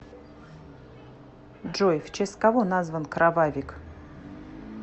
джой в честь кого назван кровавик